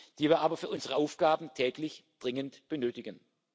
die wir aber für unsere Aufgaben täglich dringend benötigen.